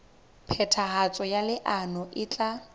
phethahatso ya leano e tla